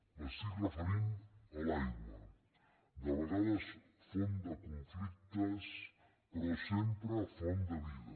m’estic referint a l’aigua de vegades font de conflictes però sempre font de vida